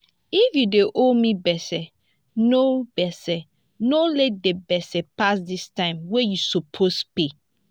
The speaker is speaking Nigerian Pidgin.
if you don dey owe gbese no gbese no let di gbese pass di time wey you suppose pay